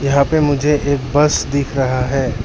यहां पे मुझे एक बस दिख रहा है।